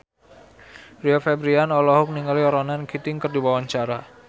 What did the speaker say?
Rio Febrian olohok ningali Ronan Keating keur diwawancara